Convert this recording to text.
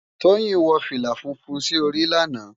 Toyin wò filá fúnfún si óri làná